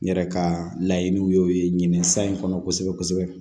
N yɛrɛ ka laɲiniw y'o ye ɲinɛ sa in kɔnɔ kosɛbɛ kosɛbɛ